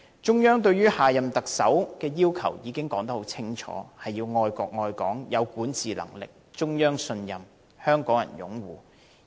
中央對下任特首的要求已經說得很清楚，要愛國愛港、有管治能力、得到中央信任和香港人擁護。